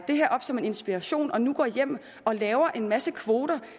det her op som en inspiration og nu går hjem og laver en masse kvoter